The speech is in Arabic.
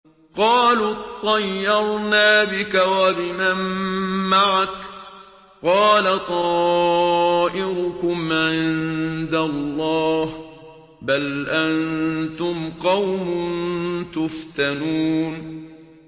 قَالُوا اطَّيَّرْنَا بِكَ وَبِمَن مَّعَكَ ۚ قَالَ طَائِرُكُمْ عِندَ اللَّهِ ۖ بَلْ أَنتُمْ قَوْمٌ تُفْتَنُونَ